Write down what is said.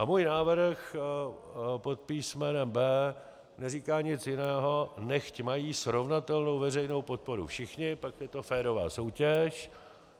A můj návrh pod písmenem B neříká nic jiného, nechť mají srovnatelnou veřejnou podporu všichni, pak je to férová soutěž.